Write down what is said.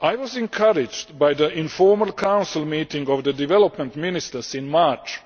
I was encouraged by the informal Council meeting of the Development Ministers in March,